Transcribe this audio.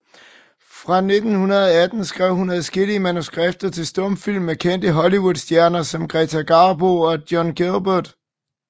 Fra 1918 skrev hun adskillige manuskripter til stumfilm med kendte Hollywoodstjerner som Greta Garbo og John Gilbert